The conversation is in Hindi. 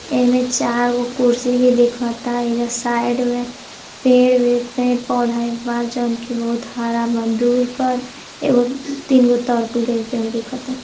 एईमें चार गो कुर्सी भी दिखता। ऐजा साइड में पेड़ ही पेड़-पौधा बा जौन की बहुत हरा बा दूर पर। एगो तर तीन गो तरकुल के भी पेड़ दिखता।